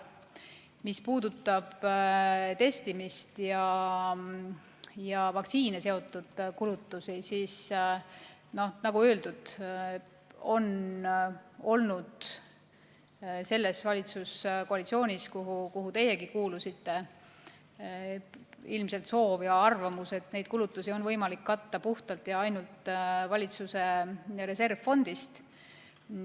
Mis puudutab testimist ja vaktsiinidega seotud kulutusi, siis, nagu öeldud, oli selles valitsuskoalitsioonis, kuhu teiegi kuulusite, ilmselt soov ja arvamus, et neid kulutusi on võimalik katta puhtalt ja ainult valitsuse reservfondist.